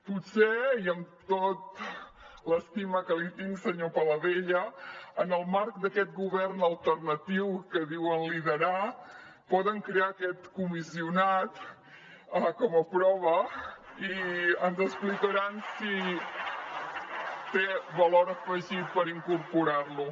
potser i amb tota l’estima que li tinc senyor paladella en el marc d’aquest govern alternatiu que diuen liderar poden crear aquest comissionat com a prova i ens explicaran si té valor afegit per incorporar lo